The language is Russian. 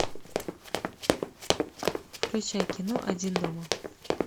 включай кино один дома